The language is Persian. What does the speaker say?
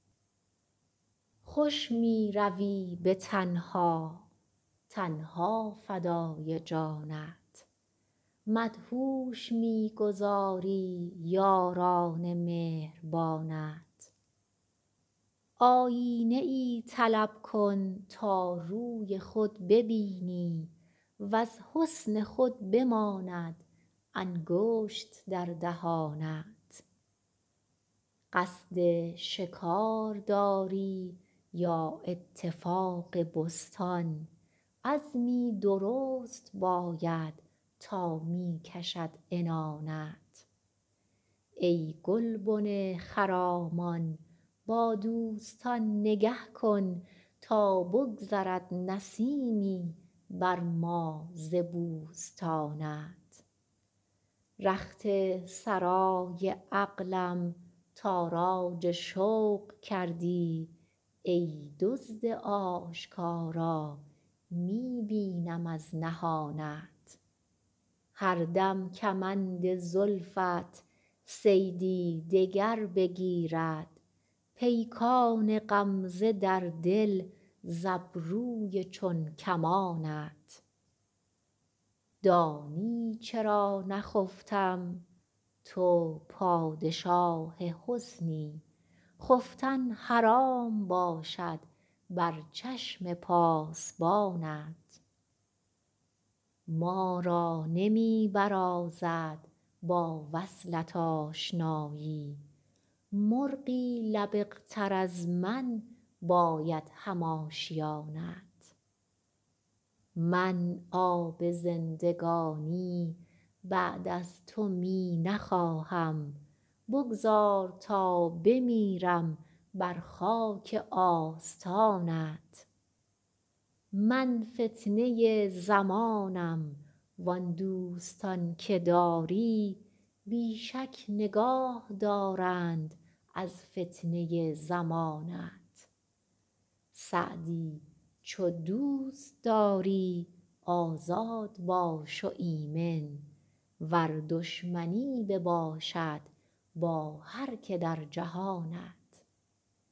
خوش می روی به تنها تن ها فدای جانت مدهوش می گذاری یاران مهربانت آیینه ای طلب کن تا روی خود ببینی وز حسن خود بماند انگشت در دهانت قصد شکار داری یا اتفاق بستان عزمی درست باید تا می کشد عنانت ای گلبن خرامان با دوستان نگه کن تا بگذرد نسیمی بر ما ز بوستانت رخت سرای عقلم تاراج شوق کردی ای دزد آشکارا می بینم از نهانت هر دم کمند زلفت صیدی دگر بگیرد پیکان غمزه در دل ز ابروی چون کمانت دانی چرا نخفتم تو پادشاه حسنی خفتن حرام باشد بر چشم پاسبانت ما را نمی برازد با وصلت آشنایی مرغی لبق تر از من باید هم آشیانت من آب زندگانی بعد از تو می نخواهم بگذار تا بمیرم بر خاک آستانت من فتنه زمانم وان دوستان که داری بی شک نگاه دارند از فتنه زمانت سعدی چو دوست داری آزاد باش و ایمن ور دشمنی بباشد با هر که در جهانت